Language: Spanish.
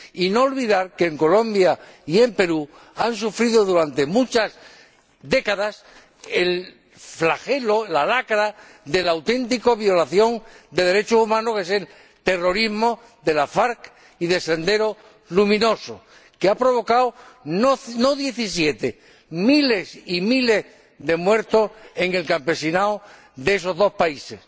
Y no olvidemos que Colombia y el Perú han sufrido durante muchas décadas el flagelo, la lacra de la auténtica violación de derechos humanos que es el terrorismo de las FARC y de Sendero Luminoso, que han provocado no diecisiete, sino miles y miles de muertos en el campesinado de esos dos países.